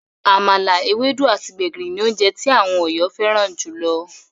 Àmàlà, ewédú, àti gbẹ̀gìrì ní oúnje tí àwọn Ọ̀yọ́ fẹ́ràn júlọ.